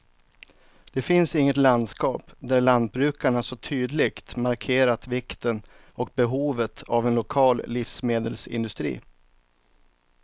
Det finns inget landskap där lantbrukarna så tydligt markerat vikten och behovet av en lokal livsmedelsindustri.